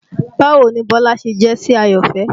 Báwo ni Bọ́lá ṣe jẹ́ sí Àyọ̀fẹ́?